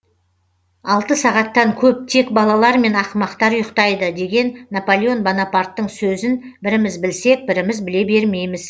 алты сағаттан көп тек балалар мен ақымақтар ұйықтайды деген напалеон бонопарттын сөзін біріміз білсек біріміз біле бермейміз